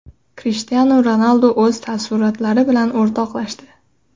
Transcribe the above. Krishtianu Ronaldu o‘z taassurotlari bilan o‘rtoqlashdi.